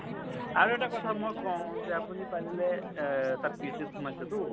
আৰু এটা কথা মই কওঁ যে আপুনি পাৰিলে এ তাত PHC ত সোমাইছে টো।